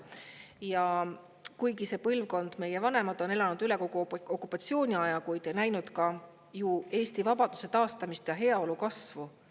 Ja kuigi see põlvkond, meie vanemad, on elanud üle kogu okupatsiooniaja, on nad näinud ka ju Eesti vabaduse taastamist ja heaolu kasvu.